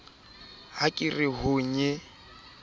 ha ke re ho ye